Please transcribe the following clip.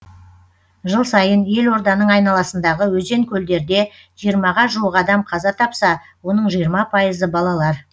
жыл сайын ел орданың айналасындағы өзен көлдерде жиырмаға жуық адам қаза тапса оның жиырма пайызы балалар